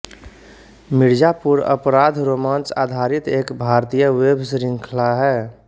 मिर्ज़ापुर अपराधरोमांच आधारित एक भारतीय वेब शृंखला है